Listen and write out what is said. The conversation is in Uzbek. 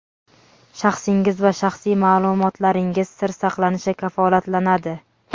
Shaxsingiz va shaxsiy ma’lumotlaringiz sir saqlanishi kafolatlanadi.